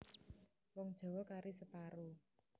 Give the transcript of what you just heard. Wong Jawa kari separo